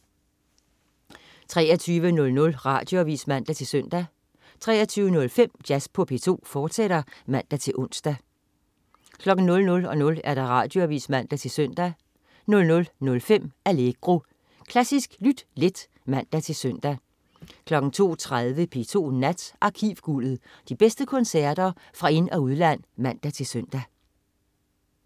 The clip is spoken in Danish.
23.00 Radioavis (man-søn) 23.05 Jazz på P2, fortsat (man-ons) 00.00 Radioavis (man-søn) 00.05 Allegro. Klassisk lyt let (man-søn) 02.30 P2 Nat. Arkivguldet. De bedste koncerter fra ind- og udland (man-søn)